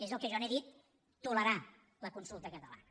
és el que jo n’he dit tolerar la consulta catalana